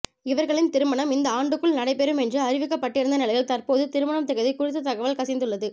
இவர்களின் திருமணம் இந்த ஆண்டுக்குள் நடைபெறும் என்று அறிவிக்கப்பட்டிருந்த நிலையில் தற்போது திருமண திகதி குறித்த தகவல் கசிந்துள்ளது